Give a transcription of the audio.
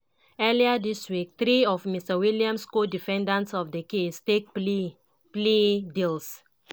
earlier dis week three of mr williams co-defendants for di case take plea plea deals.